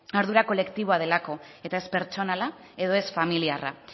ardura kolektiboa delako eta ez pertsonala edo ez familiarra